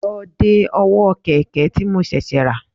Lọ de ọwọ́ kẹ̀kẹ́ tí mo ṣẹ̀ṣẹ̀ rà